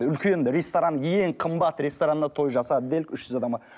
үлкен ресторан ең қымбат ресторанына той жасады делік үш жүз адамға